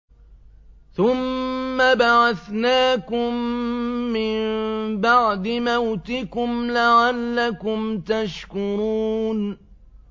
ثُمَّ بَعَثْنَاكُم مِّن بَعْدِ مَوْتِكُمْ لَعَلَّكُمْ تَشْكُرُونَ